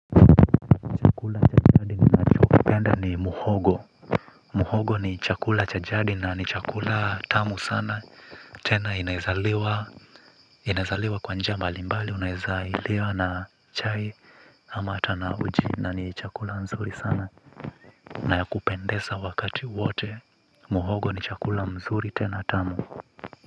Chakula cha jadi ninachokipenda ni muhogo. Muhogo ni chakula cha jadi na ni chakula tamu sana tena inaeza liwa kwa njia mbali mbali inaeza liwa na chai. Ama hata na uji na ni chakula nzuri sana na ya kupendesa wakati wote. Muhogo ni chakula mzuri tena tamu.